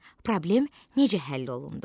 Problem necə həll olundu?